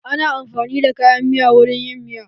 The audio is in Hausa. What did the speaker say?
Ana amfanin da kayan miya wurin yin miya.